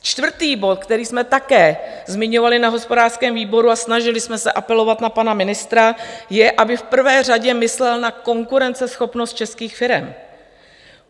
Čtvrtý bod, který jsme také zmiňovali na hospodářském výboru, a snažili jsme se apelovat na pana ministra, je, aby v prvé řadě myslel na konkurenceschopnost českých firem.